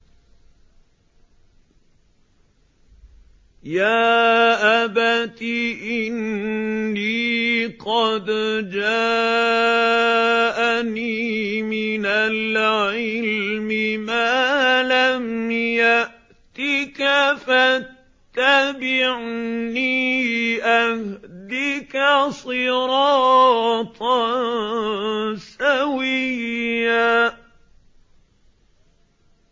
يَا أَبَتِ إِنِّي قَدْ جَاءَنِي مِنَ الْعِلْمِ مَا لَمْ يَأْتِكَ فَاتَّبِعْنِي أَهْدِكَ صِرَاطًا سَوِيًّا